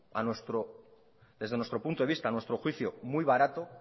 a nuestro juicio muy barato